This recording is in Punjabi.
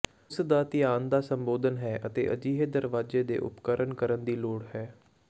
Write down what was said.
ਉਸ ਦਾ ਧਿਆਨ ਦਾ ਸੰਬੋਧਨ ਹੈ ਅਤੇ ਅਜਿਹੇ ਦਰਵਾਜ਼ੇ ਦੇ ਉਪਕਰਣ ਕਰਨ ਦੀ ਲੋੜ ਹੈ